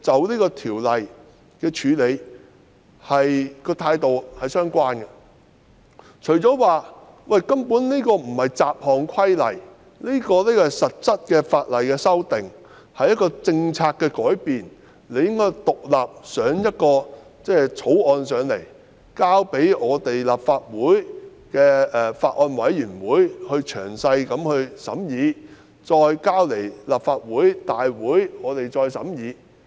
因為《條例草案》根本不是對條例作出雜項修訂，而是實質法例的修訂，是政策的改變，理應提交一項獨立的法案，讓立法會成立法案委員會詳細審議，再提交立法會審議。